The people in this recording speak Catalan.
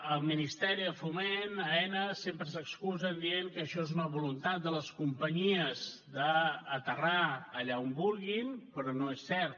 el ministeri de foment aena sempre s’excusen dient que això és una voluntat de les companyies d’aterrar allà on vulguin però no és cert